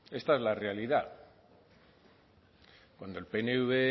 esta es la realidad cuando el pnv